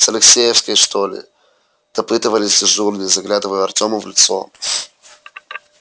с алексеевской что ли допытывались дежурные заглядывая артёму в лицо